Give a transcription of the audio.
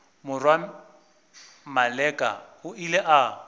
morwa maleka o ile a